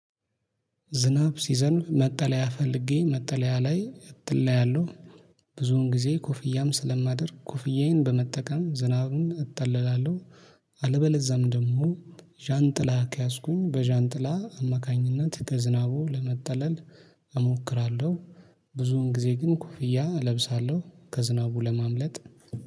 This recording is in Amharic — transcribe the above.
ዝናብ ሲዘንብ መጠለያ ፈልጌ መጠለያ ላይ እጠለላለሁ። ብዙውን ጊዜ ኮፍያም ስለማደርግ ኮፍያዬን በመጠቀም ዝናቡን እጠለላለሁ። አለበለዛም ደግሞ ዣንጥላ ከያዝኩኝ በዣንጥላ አማካኝነት ከዝናቡ ለመጠለል እሞክራለሁ። ብዙን ጊዜ ግን ኮፍያ እለብሳለሁ ከዝናቡ ለማምለጥ።